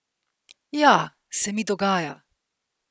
Ja, se mi dogaja.